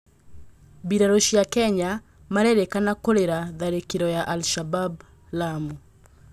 Mbirarũ cia Kenya marerĩkana'kũrĩra' tharĩkĩro ya Al Shabab Lamu.